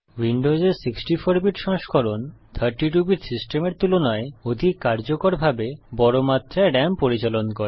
উইন্ডোসের 64 bit সংস্করণ 32 bit সিস্টেমের তুলনায় অধিক কার্যকরভাবে বড় মাত্রায় রাম পরিচালন করে